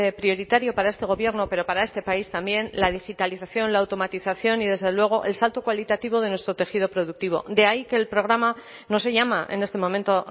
prioritario para este gobierno pero para este país también la digitalización la automatización y desde luego el salto cualitativo de nuestro tejido productivo de ahí que el programa no se llama en este momento